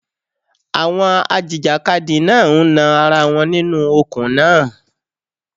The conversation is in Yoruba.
Àwọn a jìjàkadì náà ń nan ara wọn nínú okùn náà.